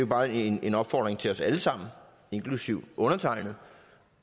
bare en opfordring til os alle sammen inklusive undertegnede